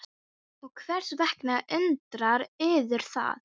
Hartmann, hringdu í Anders eftir þrjátíu og fimm mínútur.